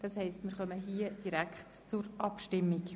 Wir schreiten somit direkt zur Abstimmung.